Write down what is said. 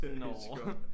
Nåå